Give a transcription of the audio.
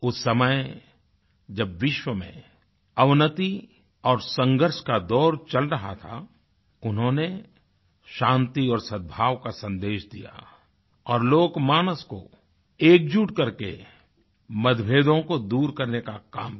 उस समय जब विश्व में अवनति और संघर्ष का दौर चल रहा था उन्होंने शांति और सद्भाव का सन्देश दिया और लोकमानस को एकजुट करके मतभेदों को दूर करने का काम किया